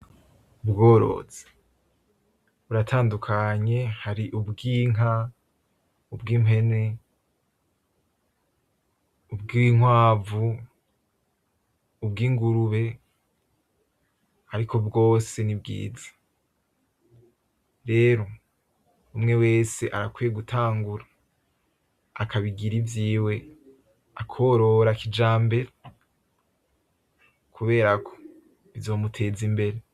Ubworozi, buratandukanye hari ubw'inka, ubw'impene, ubw'inkwavu, ubw'ingurube ariko bwose ni bwiza rero umwe wese arakwiye gutangura akabigira ivyiwe akorora kijambere kubera ko bizomuteza imbere.